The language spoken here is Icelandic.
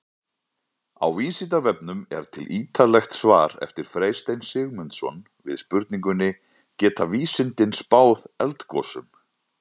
Á Vísindavefnum er til ýtarlegt svar eftir Freystein Sigmundsson við spurningunni Geta vísindin spáð eldgosum?